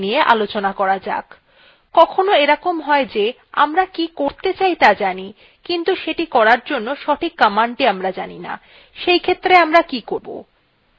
এখানে সর্বাপেক্ষা গুরুত্বপূর্ণ অপশনগুলি নিয়ে আলোচনা করা যাক কখনও এরকম হয় যে আমরা কি করতে চাই ত়া জানি কিন্তু সেটি করার জন্য সঠিক commandthe জানি না সেইক্ষেত্রে আমরা কি করব